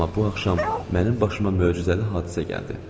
Amma bu axşam mənim başıma möcüzəli hadisə gəldi.